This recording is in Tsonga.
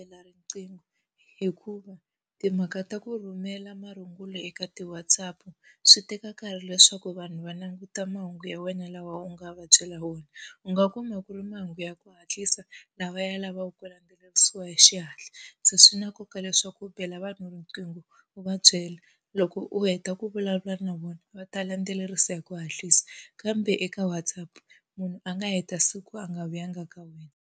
Bela riqingho hikuva timhaka ta ku rhumela marungulo eka ti-WhatsApp, swi teka nkarhi leswaku vanhu va languta mahungu ya wena lawa u nga va byela wona. U nga kuma ku ri mahungu ya ku hatlisa, lawa ya lavaku ku landzelerisiwa hi xihatla, se swi na nkoka leswaku u bela vanhu riqingho u va byela. Loko u heta ku vulavula na vona va ta landzelerisa hi ku hatlisa, kambe eka WhatsApp munhu a nga heta siku a nga vulanga ka wena.